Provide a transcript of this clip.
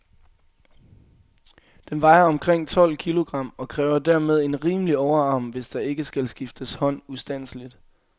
Den vejer omkring tolv kilogram, og kræver dermed en rimelig overarm, hvis der ikke skal skifte hånd ustandseligt.